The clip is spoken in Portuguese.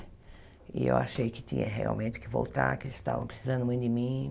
E eu achei que tinha realmente que voltar, que eles estavam precisando muito de mim.